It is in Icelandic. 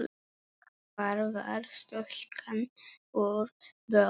Hvar var stúlkan úr Brokey?